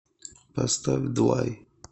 поставь двай